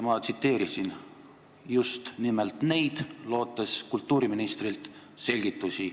Ma tsiteerisin just nimelt neid, lootes kultuuriministrilt selgitusi.